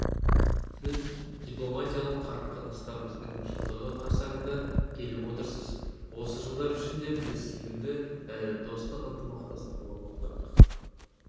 сіз дипломатиялық қарым-қатынастарымыздың жылдығы қарсаңында келіп отырсыз осы жылдар ішінде біз сенімді әрі достық ынтымақтастық орнаттық